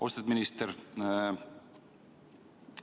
Austatud minister!